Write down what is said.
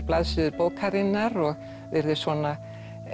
blaðsíður bókarinnar og virðist svona